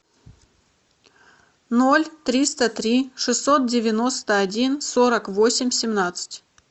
ноль триста три шестьсот девяносто один сорок восемь семнадцать